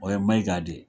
O ye maiga de